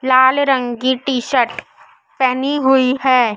लाल रंग की T-shirt पहनी हुई हैं।